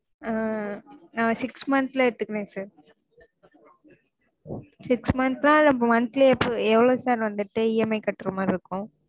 ஆஹ் நா six months ல எடுத்துகிறேன் sirsix months னா monthly எப்போ எவ்ளோ sir வந்துட்டு EMI கட்றமாறி இருக்கும்